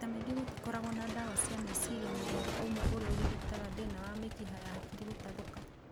Maita maingĩ gũtikoragwo na ndawa cia meciria mũthemba ũmwe ũrĩa ũrigitaga thĩna wa mĩkiha ya hakiri gũtathũka